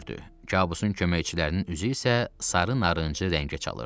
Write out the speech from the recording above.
Kabusun köməkçilərinin üzü isə sarı narıncı rəngə çalırdı.